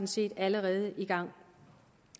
set allerede er i gang